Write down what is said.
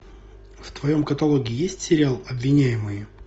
в твоем каталоге есть сериал обвиняемые